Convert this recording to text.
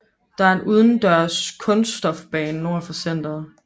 Der er en udendørs kunststofbane nord for centret